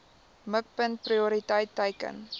mikpunt prioriteit teiken